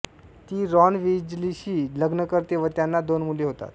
ती रॉन विजलीशी लग्न करते व त्यांना दोन मुले होतात